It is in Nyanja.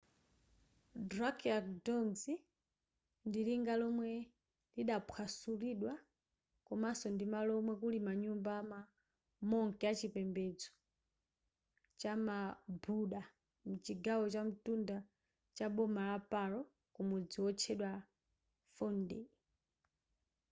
drukgyal dzong ndi linga lomwe lidaphwasulidwa komanso ndimalo omwe kuli manyumba ama monk achipembedzo chama buddha m'chigawo chakumtunda chaboma la paro kumudzi wotchedwa phondey